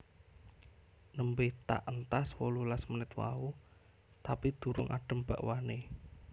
Nembe tak entas wolulas menit mau tapi durung adem bakwane